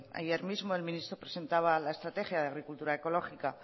ayer mismo el ministro presentaba la estrategia de agricultura ecológica